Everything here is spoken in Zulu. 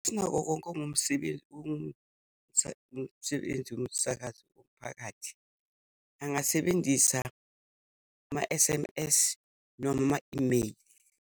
Sinako konke ongumsebenzi umsebenzi womsakazo womphakathi, angasebenzisa ama-S_M_S, noma ama-imeyili.